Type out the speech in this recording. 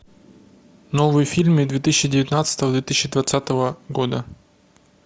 новые фильмы две тысячи девятнадцатого две тысячи двадцатого года